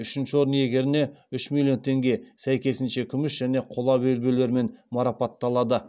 үшінші орын иегеріне үш миллион теңге сәйкесінше күміс және қола белбеулермен марапатталады